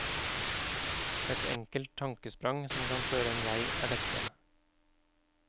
Et enkelt tankesprang som kan føre en vei er dette.